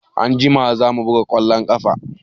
Anjima za mu buga ƙwallon ƙafa.